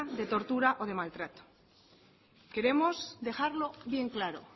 de tortura o de maltrato queremos dejarlo bien claro